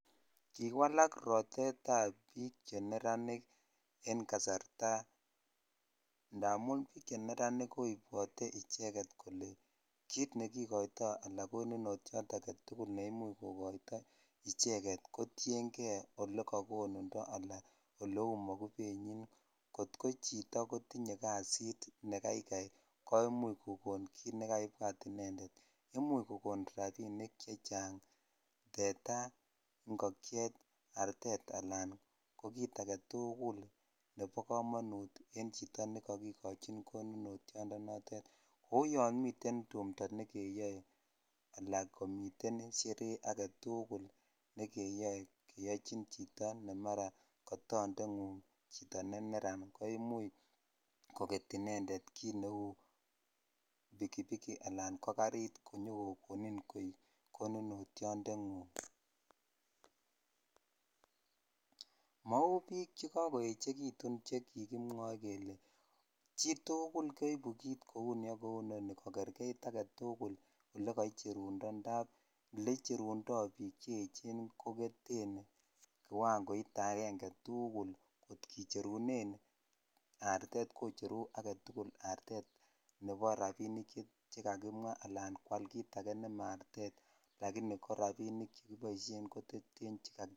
Kiwalak rotatable bbik che neranik en kasarta indamun bik cheneranik kobwote kole kit nekikoitoi ala konunityot agetukul ne imuch kokoito ichegetcjo tien kei ole kokonundo ala kit neu mokubenyi kot ko choto kotinye jasitv ne kaiikai ko omuch kokon kit nekaibwat inended imuch kokon rabinik chechang tetaa ,ingokyet ,artet ala ko kit agetukul nebo komonut en chito nekokikochin koninotyot notet kou yomiten tumto nekeyoe alaa Shere aketukul nekeyoe keyochin chito ne mara kadonde ngug chito ne neran ko imuch koget inended kit neu bikibik ala ko garit konyokokonin koi koninotyotengung mau bik che kakoechekitun che kikimwoe kele chitukul keibu kit kou ni ak kou ni kokerket aggetukulolekaicherundo indap ile cheruno bik chechen ko koketen kiwangoit aenge tukul kot kicherunen artet kocheru tukul artet chebo rabinik che kakimwa ala kwali kit ake nema artet lakini korabik chekiboishen ko cheten che.